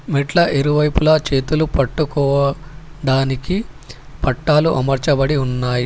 మెట్ల ఇరువైపులా చేతులు పట్టుకోవ డానికి పట్టాలు అమర్చబడి ఉన్నాయి.